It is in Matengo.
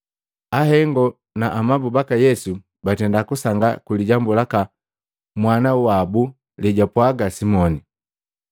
Ahengo na amabu baka Yesu batenda kusangaa kwi lijambu laka mwana wabu lejwapwaga Simoni.